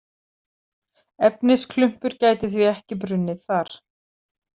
Efnisklumpur gæti því ekki brunnið þar.